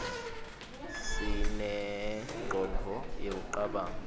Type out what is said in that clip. sinengcondvo yekucabanga